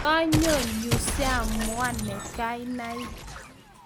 ka nyo yu siamuaun ne kianai